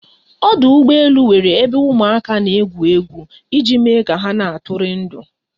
Ọdụ ụgbọ elu nwere ebe ụmụ aka n'egwu egwu iji me ka ha na atụri ndụ